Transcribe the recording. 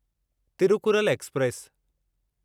Thirukkural express